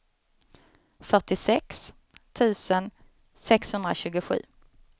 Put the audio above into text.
fyrtiosex tusen sexhundratjugosju